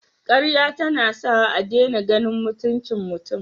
Karya tana sawa a dena ganin mutuncin mutun